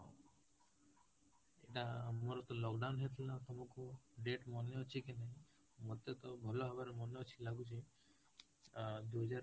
ସେଵା ମୋର ତ lockdown ହେଇଥିଲା ତମକୁ date ମାନେ ଅଛି କି ନାହିଁ ମତେ ତ ଭଲ ଭାବରେ ମାନେ ଅଛି ଲାଗୁଛି ଅ ଦୁଇ ହଜାର